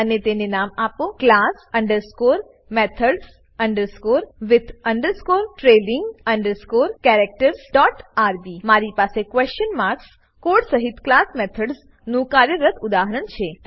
અને તેને નામ આપો class underscore methods underscore with underscore trailing underscore characters dot RB મારી પાસે ક્વેશન માર્ક કોડ સહીત ક્લાસ મેથડ્સ નું કાર્યરત ઉદાહરણ છે